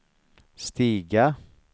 stiga